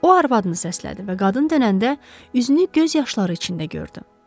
O arvadını səslədi və qadın dönəndə üzünü göz yaşları içində gördüm.